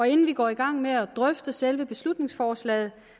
inden vi går i gang med at drøfte selve beslutningsforslaget